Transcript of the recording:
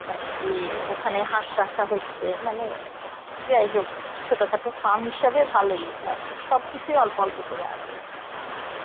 মানে কি ওখানে হাঁস রাখা হয়েছে মানে, যাইহোক ছোটখাটো farm হিসাবে ভালই মানে সব কিছুই অল্প অল্প করে আসে